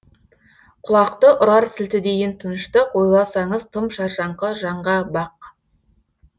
құлақты ұрар сілтідейін тыныштық ойласаңыз тым шаршаңқы жаңға бақ